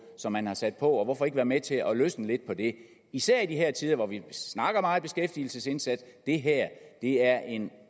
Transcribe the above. som man har sat på og hvorfor ikke være med til at løsne lidt på det især i de her tider hvor vi snakker meget beskæftigelsesindsats det her er en